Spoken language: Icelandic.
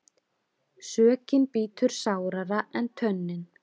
Sökin bítur sárara en tönnin.